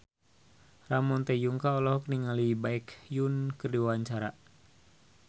Ramon T. Yungka olohok ningali Baekhyun keur diwawancara